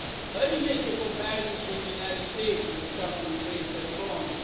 Let me make a comparison with the United States, because someone raised that point.